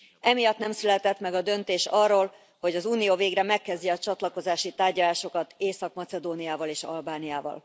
Emiatt nem született meg a döntés arról, hogy az Unió végre megkezdje a csatlakozási tárgyalásokat Észak Macedóniával és Albániával.